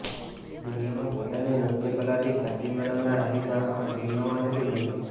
દુનિયામાં પોતાની નૃત્ય કલાથી ખ્યાતિ મેળવનાર હરીશ હવે આ દુનિયામાં નથી રહ્યો